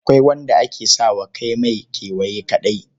Akwai wanda ake sa wa kai mai kewaye kaɗai.